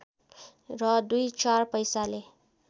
र दुई चार पैसाले